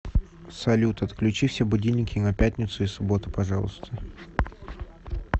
салют отключи все будильники на пятницу и субботу пожалуйста